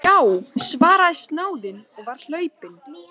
Já, svaraði snáðinn og var hlaupinn.